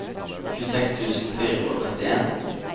tjueseks tusen fire hundre og trettien